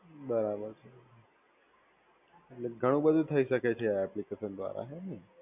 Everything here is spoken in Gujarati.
બરાબર. એટલે ખાણું બધું થઇ શકે છે આ એપ્લિકેશન દ્વારા. હ ને